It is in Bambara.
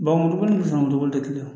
Baw dugu ni dugu te kelen ye